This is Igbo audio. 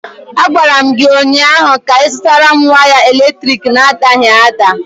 Agwara m gị ụnyaahụ ka ịzụtara waya eletrik na-adaghị ada!